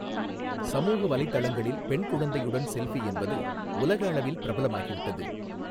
சமூக வலைதளங்களில் பெண் குழந்தையுடன் செஃல்பி என்பது உலக அளவில் பிரபலமாகிவிட்டது.